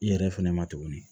I yɛrɛ fɛnɛ ma tuguni